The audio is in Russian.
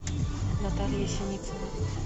наталья синицына